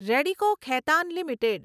Radico Khaitan limited